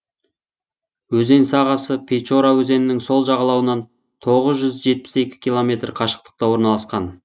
өзен сағасы печора өзенінің сол жағалауынан тоғыз жүз жетпіс екі километр қашықтықта орналасқан